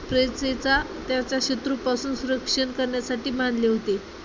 शत्रूपासून संरक्षण करण्यासाठी बांधले होते.